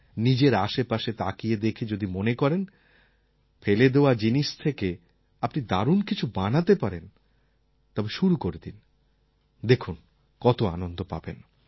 নিজের আশেপাশে তাকিয়ে দেখে যদি মনে করেন ফেলে দেওয়া জিনিস থেকে আপনি দারুণ কিছু বানাতে পারেন তবে শুরু করে দিন দেখুন কত আনন্দ পাবেন